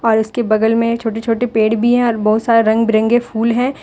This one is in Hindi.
और इसके बगल में छोटे छोटे पेड़ भी है और बहुत सारे रंग बिरंगे फूल हैं ।